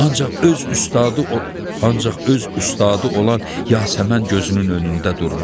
Ancaq öz ustadı ancaq öz ustadı olan Yasəmən gözünün önündə durmuşdu.